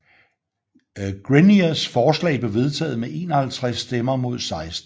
Greniers forslag blev vedtaget med 51 stemmer mod 16